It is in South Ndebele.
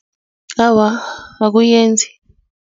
Awa, akuyenzi.